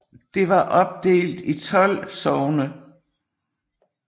Det var opdelt i 12 sogne